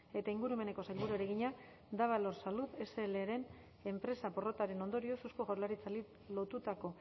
eta ingurumeneko sailburuari egina davalor salud slren empresa porrotaren ondorioz eusko jaurlaritzari lotutako